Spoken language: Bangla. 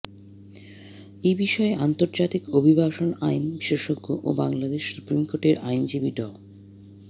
এ বিষয়ে আন্তর্জাতিক অভিবাসন আইন বিশেষজ্ঞ ও বাংলাদেশ সুপ্রিম কোর্টের আইনজীবী ড